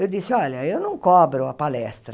Eu disse, olha, eu não cobro a palestra.